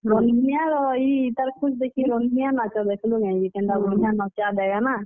ରନ୍ଧନିଆ ର ଇ ତାର୍ ଦେଖିକରି ରନ୍ଧନିଆ ନାଚ ଦେଖ୍ ଲୁ କେଁ ଯେ, କେନ୍ତା ବଢିଆ ନଚାଡେଗା ନା।